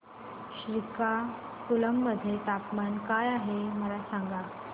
श्रीकाकुलम मध्ये तापमान काय आहे मला सांगा